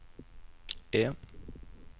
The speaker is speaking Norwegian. E